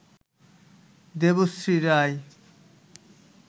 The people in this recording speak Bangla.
দেবশ্রী রায়